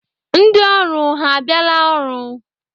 Ndị ọrụ ha abịala ọrụ?